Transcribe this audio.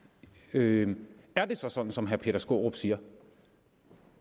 det er det så sådan som herre peter skaarup siger